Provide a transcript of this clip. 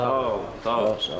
Sağ olun, sağ olun.